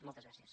moltes gràcies